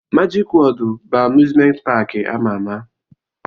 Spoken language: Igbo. Majik Wọọd bụ amuzment paki ama ama.